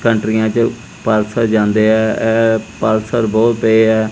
ਕੰਟਰੀਆਂ ਚ ਪਾਰਸਲ ਜਾਂਦੇ ਆ ਇਹ ਪਾਰਸਲ ਬਹੁਤ ਪਏ ਆ।